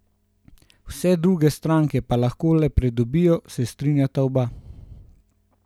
Vse druge stranke pa lahko le pridobijo, se strinjata oba.